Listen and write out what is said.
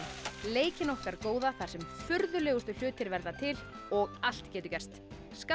leikinn okkar góða þar sem furðulegustu hlutir verða til og allt getur gerst